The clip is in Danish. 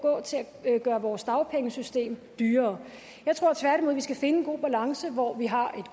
til at gøre vores dagpengesystem dyrere jeg tror tværtimod vi skal finde en god balance hvor vi har